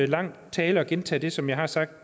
lang tale og gentage det som jeg har sagt